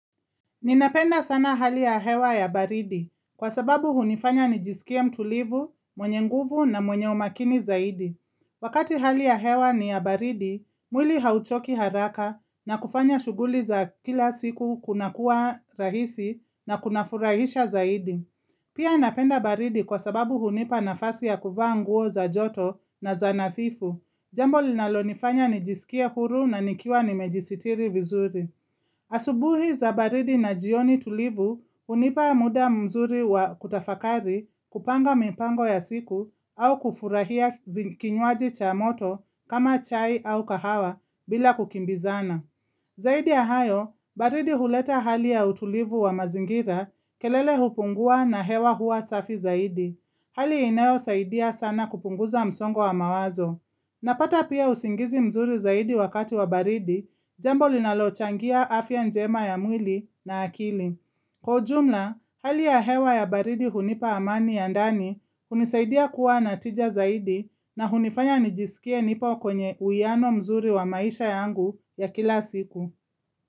Ninapenda sana hali ya hewa ya baridi, kwa sababu hunifanya nijisikie mtulivu, mwenye nguvu na mwenye umakini zaidi. Wakati hali ya hewa ni ya baridi, mwili hauchoki haraka na kufanya shuguli za kila siku kuna kuwa rahisi na kuna furahisha zaidi. Pia napenda baridi kwa sababu hunipa nafasi ya kuvaa nguo za joto na za nathifu. Jambo linalo nifanya nijisikie huru na nikiwa nimejisitiri vizuri. Asubuhi za baridi na jioni tulivu unipa muda mzuri wa kutafakari kupanga mipango ya siku au kufurahia kinywaji cha moto kama chai au kahawa bila kukimbizana. Zaidi ahayo, baridi huleta hali ya utulivu wa mazingira kelele hupungua na hewa huwa safi zaidi. Hali inayo saidia sana kupunguza msongo wa mawazo. Napata pia usingizi mzuri zaidi wakati wa baridi, jambo linalochangia afya njema ya mwili na akili. Kwa ujumla, hali ya hewa ya baridi hunipa amani ya ndani unisaidia kuwa natija zaidi na hunifanya nijisikie nipo kwenye uiano mzuri wa maisha yangu ya kila siku.